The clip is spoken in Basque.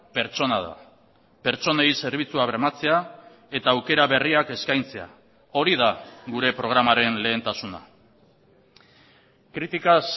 pertsona da pertsonei zerbitzua bermatzea eta aukera berriak eskaintzea hori da gure programaren lehentasuna críticas